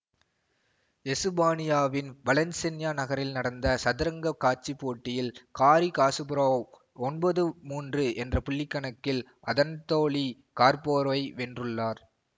எசுபானியாவின் Valencia நகரில் நடந்த சதுரங்கக் காட்சிப் போட்டியில் காரி காசுப்பரொவ் ஒன்பது மூன்று என்ற புள்ளிக்கணக்கில் அதன்த்தோலி கார்ப்போவை வென்றுள்ளார்